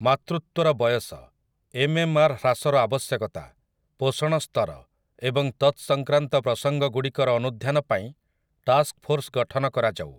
ମାତୃତ୍ୱର ବୟସ, ଏମ୍ଏମ୍ଆର୍ ହ୍ରାସର ଆବଶ୍ୟକତା, ପୋଷଣ ସ୍ତର ଏବଂ ତତ୍ସଂକ୍ରାନ୍ତ ପ୍ରସଙ୍ଗଗୁଡ଼ିକର ଅନୁଧ୍ୟାନ ପାଇଁ ଟାସ୍କଫୋର୍ସ ଗଠନ କରାଯାଉ ।